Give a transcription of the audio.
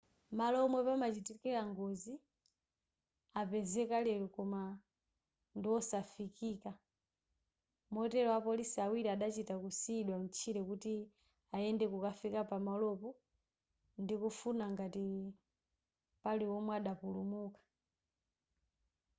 malo omwe panachitikira ngozi apezeka lero koma ndiwosafikika motero apolisi awiri adachita kusiyidwa mtchire kuti ayende kukafika pamalopo ndikufuna ngati pali omwe adapulumuka